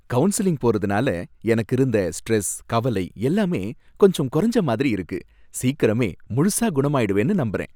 Counselling போறதுனால எனக்கு இருந்த ஸ்ட்ரெஸ், கவலை எல்லாமே கொஞ்சம் குறஞ்ச மாதிரி இருக்கு, சீக்கிரமே முழுசா குணமாயிடுவேன்னு நம்பறேன்.